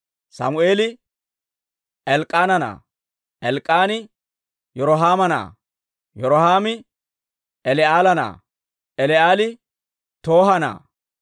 Sammeeli Elk'k'aana na'aa; Elk'k'aani Yirohaama na'aa; Yirohaami Eli'eela na'aa; Eli'eeli Tooha na'aa;